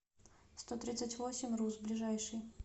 стотридцатьвосемьрус ближайший